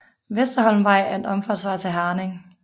Vesterholmvej er en omfartsvej i Herning